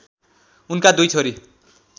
उनका दुई छोरी